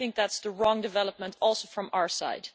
I think that is the wrong development also from our side.